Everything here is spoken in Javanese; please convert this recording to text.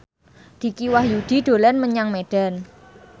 Dicky Wahyudi dolan menyang Medan